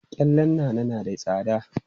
Gyallen Nana na da tsada.